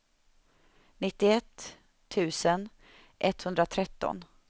nittioett tusen etthundratretton